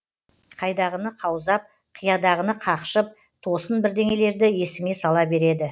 қайдағыны қаузап қиядағыны қақшып тосын бірнеңелерді есіңе сала береді